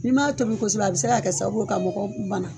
N'i m'a tobi kosɛbɛ a bɛ se ka kɛ sababu ye ka mɔgɔ bana.